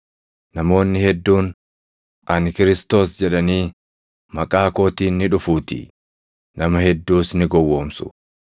Namoonni hedduun, ‘Ani Kiristoos’ jedhanii maqaa kootiin ni dhufuutii; nama hedduus ni gowwoomsu.